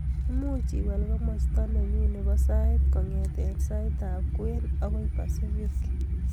Muuch iwal komosta nenyu nebo sait kongete saitab kwen agoi basifiki